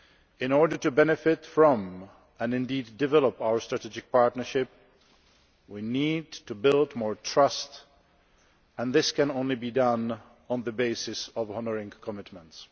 In order to benefit from and indeed develop our Strategic Partnership, we need to build more trust, and this can only be done on the basis of honouring commitments.